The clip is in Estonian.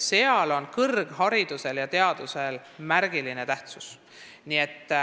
Seal on kõrgharidusel ja teadusel märgiline tähtsus.